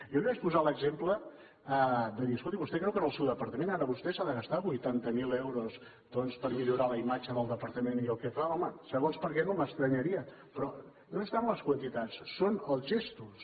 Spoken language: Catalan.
jo li vaig posar l’exemple de dir escolti vostè creu que en el seu departament ara vostè s’ha de gastar vuitanta mil euros doncs per millorar la imatge del departament i el que fa home segons per a què no m’estranyaria però no és tant les quantitats són els gestos